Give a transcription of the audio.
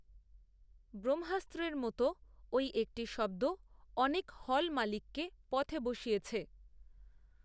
বহ্মাস্ত্রের মতো ওই একটি শব্দঅনেকহল মালিককে পথে বসিয়েছে